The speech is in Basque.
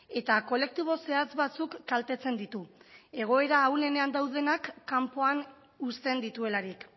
eta kolektibo zehatz batzuk kaltetzen ditu egoera ahulenean daudenak kanpoan uzten dituelarik